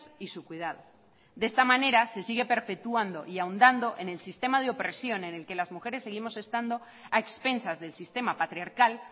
y su cuidado de esta manera se sigue perpetuando y ahondando en el sistema de opresión en el que las mujeres seguimos estando a expensas del sistema patriarcal